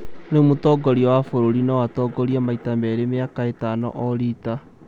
rĩu mũtongoria wa bũrũri no atongorie maita merĩ mĩaka itano o rita